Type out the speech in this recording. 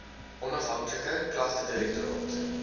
onafhanklike klagtedirek toraat